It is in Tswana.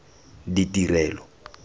ditirelo